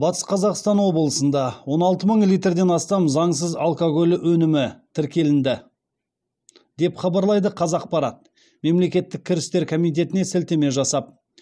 батыс қазақстан облысында он алты мың литрден астам заңсыз алкоголь өнімі тіркеленді деп хабарлайды қазақпарат мемлекеттік кірістер комитетіне сілтеме жасап